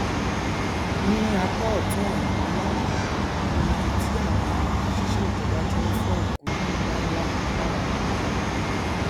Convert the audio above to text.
ní apá ọtún ọnà nlá yìí ni ibi tí àwọn òṣìṣẹ ìjọba ti n fọ òkúta nlánlá lára apáta